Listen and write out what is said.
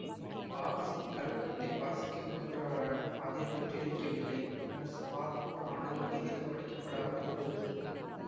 ஹால்ச் இக் கல்வெட்டை வாசிக்க முயன்றாராயினும் அது வெற்றியளிக்கவில்லை பின்னர் சுமார் நூறு ஆண்டுகள் இது கவனிக்கப்படாமல் இருந்தது